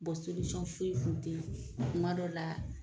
foyi kun tɛ kuma dɔ la